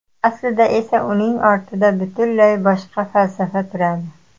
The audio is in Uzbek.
Aslida esa uning ortida butunlay boshqa falsafa turadi.